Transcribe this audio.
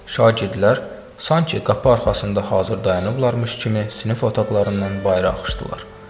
Şagirdlər sanki qapı arxasında hazır dayanıblarmış kimi sinif otaqlarından bayıra axışdılar.